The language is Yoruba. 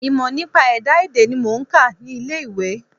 Ìmọ̀ nípa ẹ̀dá èdè ni mò ń kà ní ilé ìwé.